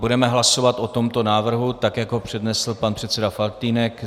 Budeme hlasovat o tomto návrhu tak, jak ho přednesl pan předseda Faltýnek.